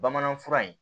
Bamanan fura in